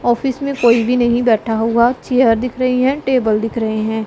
Office में कोई भी नहीं बैठा हुआ चेयर दिख रही है टेबल दिख रहे हैं।